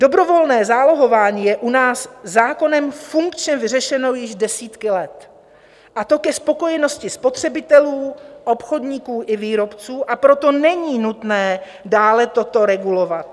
Dobrovolné zálohování je u nás zákonem funkčně vyřešeno již desítky let, a to ke spokojenosti spotřebitelů, obchodníků i výrobců, a proto není nutné dále toto regulovat.